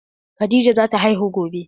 Khadijah zata haihu gobe.